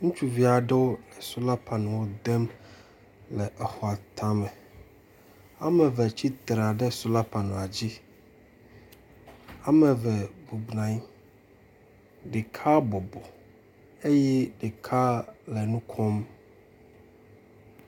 ŋutsuviaɖewo le sola panel ŋuo dem le exɔa táme wɔmeve tsitra ɖe sola panela dzí wɔmeve bubunanyi ɖeka bɔbɔ eyi ɖeka le nukom